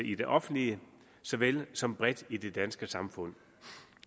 i det offentlige såvel som bredt i det danske samfund